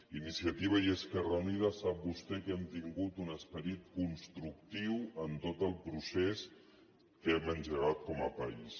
iniciativa i esquerra unida sap vostè que hem tingut un esperit constructiu en tot el procés que hem engegat com a país